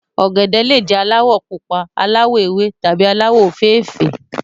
ògèdè le jé alawọ pupa ,aláwò ewé tàbí alawọ ofeefee.